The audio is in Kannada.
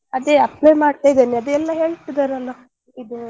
ಅದೇ apply ಮಾಡ್ತಿದ್ದೇನೆ ಅದೆ ಎಲ್ಲ ಹೇಳ್ತಿದ್ದಾರೆ ಅಲ ಇದೂ.